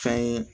Fɛn ye